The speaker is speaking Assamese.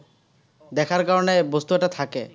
দেখাৰ কাৰণে বস্তু এটা থাকে।